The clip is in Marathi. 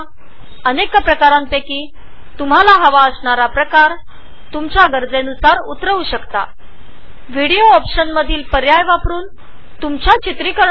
याव्यतिरीक्त तुम्ही तुमच्या गरजेनुसार इंटरनेट वरुन कोडेक्स डाउनलोड करु शकता